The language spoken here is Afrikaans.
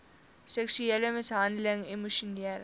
seksuele mishandeling emosionele